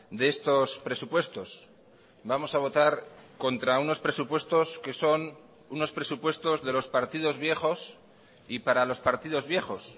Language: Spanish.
de estos presupuestos vamos a votar contra unos presupuestos que son unos presupuestos de los partidos viejos y para los partidos viejos